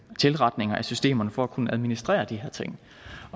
tilretninger af systemerne for at kunne administrere de her ting